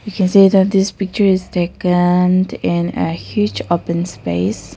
we can see that this picture is takened in a huge open space.